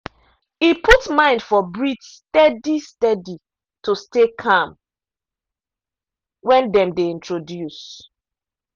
e put mind for breathe steady steady to stay calm when dem dey introduce.